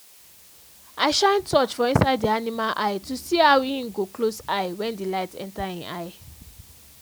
i shine torch for inside the animal eye to see how en go close eye when the light enter en eye